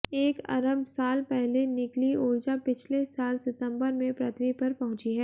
एक अरब साल पहले निकली ऊर्जा पिछले साल सितंबर में पृथ्वी पर पहुंची है